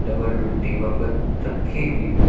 Double रोटिबा बंद रखी हुई है।